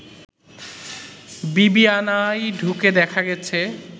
বিবিআনায় ঢুকে দেখা গেছে